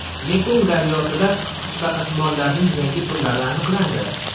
Mekong daryosida qisqichbaqasimonlarning yangi turlari aniqlandi.